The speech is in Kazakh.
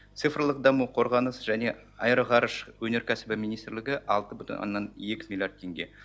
цифрлық даму қорғаныс және аэроғарыш өнеркәсібі министрлігі алты бүтін оннан екі миллиард теңге